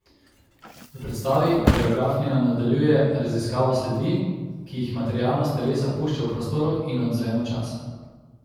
V predstavi koreografinja nadaljuje raziskavo sledi, ki jih materialnost telesa pušča v prostoru in odzvenu časa.